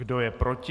Kdo je proti?